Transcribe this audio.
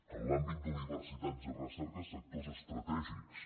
en l’àmbit d’universitats i recerca sectors estratègics